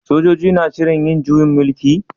Sojoji na shirin yin juyin mulki?